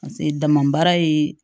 Paseke dama baara ye